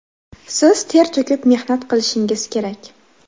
Siz ter to‘kib mehnat qilishingiz kerak.